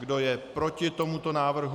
Kdo je proti tomuto návrhu?